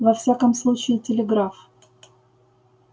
во всяком случае телеграф